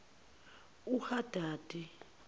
uhadadi